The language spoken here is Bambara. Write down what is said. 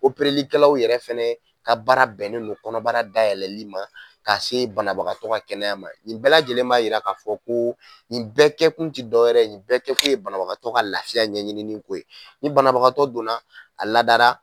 Operelikɛlaw yɛrɛ fɛnɛ ka baara bɛnnen don kɔnɔbara da yɛlɛli ma ka se banabagatɔ ka kɛnɛya ma nin bɛɛ lajɛlen b'a yira k'a fɔ ko nin bɛɛ kɛ kun te dɔwɛrɛ nin bɛɛ kɛ kun ye banabagatɔ ka lafiya ɲɛɲininiko ye ni banabagatɔ donna a ladara